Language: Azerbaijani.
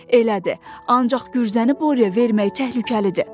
Elədir, ancaq gürzəni Boryaya vermək təhlükəlidir.